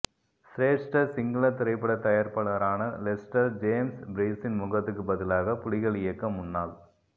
சிரேஷ்ட சிங்கள திரைப்பட தயாரிப்பா ளரான லெஸ்டர் ஜேம்ஸ் பீரிஸின் முகத்துக்குப் பதிலாக புலிகள் இயக்க முன்னாள்